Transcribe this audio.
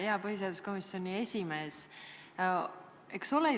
Hea põhiseaduskomisjoni esimees!